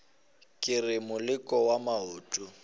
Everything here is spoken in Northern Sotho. ke re moleko wa maoto